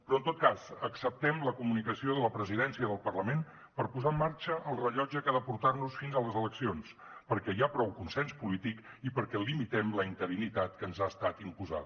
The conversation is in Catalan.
però en tot cas acceptem la comunicació de la presidència del parlament per posar en marxa el rellotge que ha de portar nos fins a les eleccions perquè hi ha prou consens polític i perquè limitem la interinitat que ens ha estat imposada